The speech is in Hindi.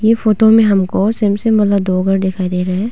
इस फोटो में हमको शेम शेम वाला दो घर दिखाई दे रहा है।